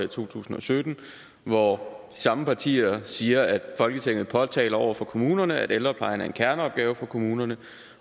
to tusind og sytten hvor samme partier siger folketinget påtaler over for kommunerne at ældreplejen er en kerneopgave for kommunerne